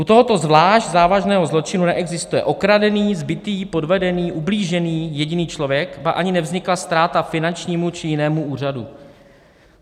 U tohoto zvlášť závažného zločinu neexistuje okradený, zbitý, podvedený, ublížený jediný člověk, ba ani nevznikla ztráta finančnímu či jinému úřadu.